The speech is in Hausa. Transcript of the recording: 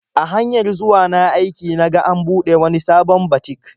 A hanyar zuwa na aiki na ga an buɗe wani sabon batik.